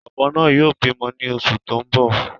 Ọ̀bọ náà yóò bímọ ni oṣù tó ń bọ̀